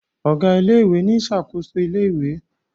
Ọgá ilé ìwé ní ṣakoso ilé ìwé